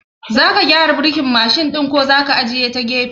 Zaka gyara birkin Mashin ɗin ko zaka ajiye a gefe?